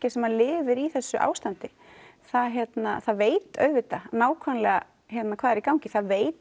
sem lifir í þessu ástandi það það veit auðvitað nákvæmlega hvað er í gangi það veit